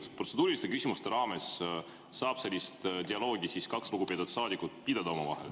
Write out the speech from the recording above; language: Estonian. Kas protseduuriliste küsimuste raames saavad kaks lugupeetud saadikut omavahel sellist dialoogi pidada?